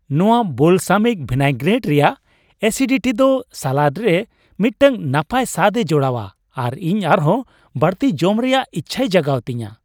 ᱱᱚᱶᱟ balsamic vinaigrette ᱨᱮᱭᱟᱜ acidity ᱫᱚ ᱥᱟᱞᱟᱰ ᱨᱮ ᱢᱤᱫᱴᱟᱝ ᱱᱟᱯᱟᱭ ᱥᱟᱫᱼᱮ ᱡᱚᱲᱟᱣᱟ ᱟᱨ ᱤᱧ ᱟᱨᱦᱚᱸ ᱵᱟᱹᱲᱛᱤ ᱡᱚᱢ ᱨᱮᱭᱟᱜ ᱤᱪᱷᱟᱭ ᱡᱟᱜᱟᱣ ᱛᱤᱧᱟᱹ ᱾